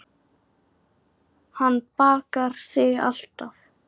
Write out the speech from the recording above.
Hann bakar þig alltaf.